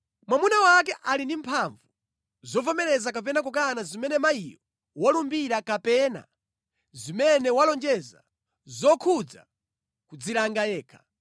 Mwamuna wake ali ndi mphamvu zovomereza kapena kukana zimene mayiyo walumbira kapena zimene walonjeza zokhudza kudzilanga yekha.